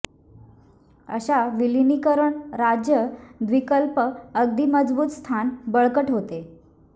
अशा विलीनीकरण राज्य द्वीपकल्प अगदी मजबूत स्थान बळकट होते